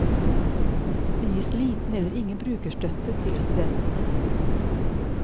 Det gis liten eller ingen brukerstøtte til studentene.